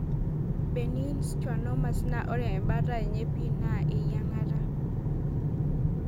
Benign schwannomas naa ore embataa enye pii naa eyiangata.